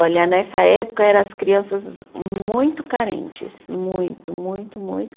Olha, nessa época era as crianças muito carentes, muito, muito, muito.